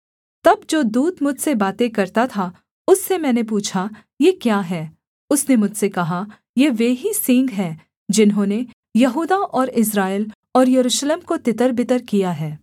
तब जो दूत मुझसे बातें करता था उससे मैंने पूछा ये क्या हैं उसने मुझसे कहा ये वे ही सींग हैं जिन्होंने यहूदा और इस्राएल और यरूशलेम को तितरबितर किया है